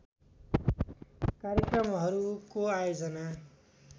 कार्यक्रमहरूको आयोजना